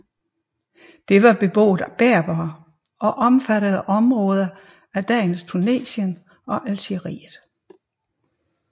Det var beboet af berbere og omfattede områder af dagens Tunesien og Algeriet